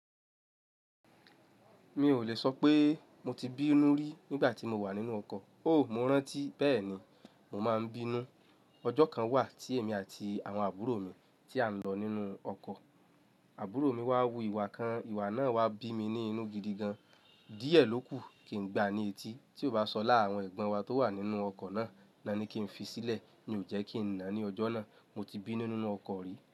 Mi ò lè sọ pé mo ti bínú rí nígbà tí mo wà nínú ọkọ̀. O, mo rántí bẹ́ẹ̀ni, mo máa ń bínú. Ọjọ́ kan wà tí èmi àti àwọn àbúrò mi tí à ń lọ nínú ọkọ̀. Àbúrò mi wá wu ìwà kan, ìwà náà wá bí mi ní inú gidi gan. Díẹ̀ ló kù kí n gbá ní etí. Tí ó bá sọláá àwọn ẹ̀gbọ́n wa tó wà nínú ọkọ̀ náà, ni kí n fi sílẹ̀. Ni ò jẹ́ kí n nà ní ọjọ́ náà. Mo ti bínú nínú ọkọ̀ rí.